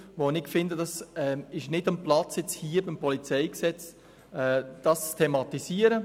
Das PolG ist jedoch nicht der richtige Ort, um das zu thematisieren.